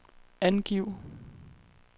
angiv